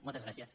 moltes gràcies